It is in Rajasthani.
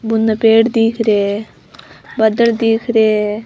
बुने पेड़ दिख रिया है बादल दिख रिया है।